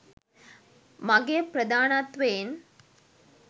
මගේ ප්‍රධානත්වයෙන්.